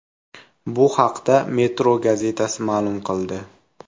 Bu haqda Metro gazetasi ma’lum qildi.